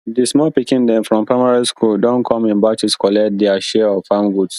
di small pikin dem from primary school don come in batches collect dia share of farm goods